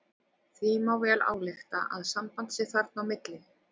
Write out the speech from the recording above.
Því má vel álykta að samband sé þarna á milli.